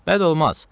Bəd olmaz.